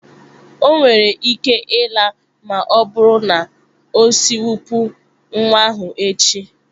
O nwere ike ịla ma ọ bụrụ na o sikwopụ nwa ahụ echi.